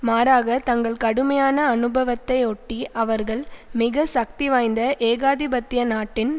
மாறாக தங்கள் கடுமையான அனுபவத்தை ஒட்டி அவர்கள் மிக சக்தி வாய்ந்த ஏகாதிபத்திய நாட்டின்